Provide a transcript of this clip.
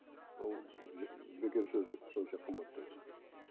ол бекер сөз ол сонша қымбат дегені